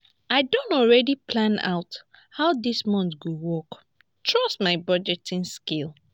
i don already plan out how dis month go work trust my budgeting skills